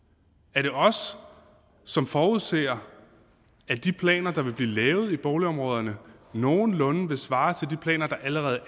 er det os som forudser at de planer der vil blive lavet i boligområderne nogenlunde vil svare til de planer der allerede